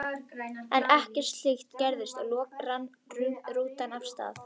En ekkert slíkt gerðist og loks rann rútan af stað.